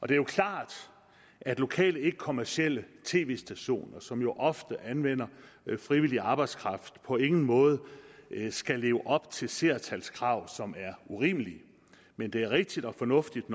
det er jo klart at lokale ikkekommercielle tv stationer som jo ofte anvender frivillig arbejdskraft på ingen måde skal leve op til seertalskrav som er urimelige men det er rigtigt og fornuftigt